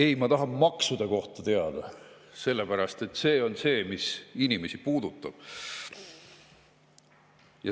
Ei, ma tahan teada maksude kohta, sest see on see, mis inimesi puudutab.